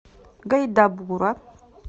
гайдабура